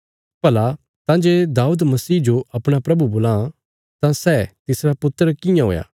भला तां जे दाऊद मसीह जो अपणा प्रभु बोलां तां सै तिसरा पुत्र कियां हुया